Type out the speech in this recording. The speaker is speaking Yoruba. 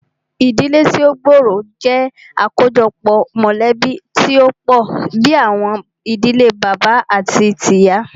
Ìdílé tí o gbóòrò jẹ́ àkójọpọ̀ mọ̀lẹ̀bí tí o pọ̀ bìí àwọn ìdílé bàbá àti tíì ìyá.